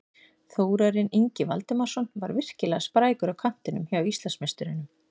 Þórarinn Ingi Valdimarsson var virkilega sprækur á kantinum hjá Íslandsmeisturunum.